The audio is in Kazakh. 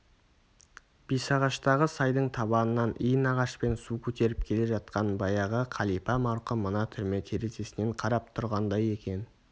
бесағаштағы сайдың табанынан иін ағашпен су көтеріп келе жатқан баяғы қалипа марқұм мына түрме терезесінен қарап тұрғандай екен